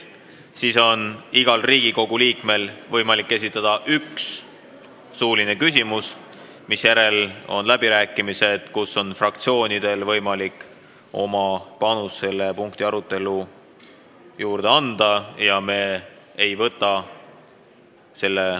Pärast seda on igal Riigikogu liikmel võimalik esitada üks suuline küsimus, misjärel on läbirääkimised, kus on fraktsioonidel võimalik anda oma panus teema arutelusse.